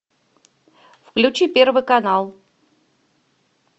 включи первый канал